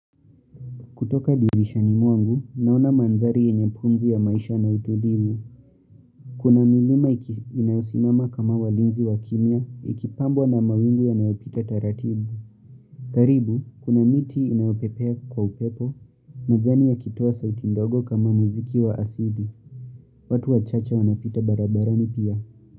Kutoka dirishani mwangu, naona manthari yenye pumzi ya maisha na utulivu. Kuna milima inayosimama kama walinzi wa kimia, ikipambwa na mawingu yanayopita taratibu. Karibu, kuna miti inayopepea kwa upepo, majani yakitoa sauti ndogo kama muziki wa asili. Watu wachache wanapita barabarani pia.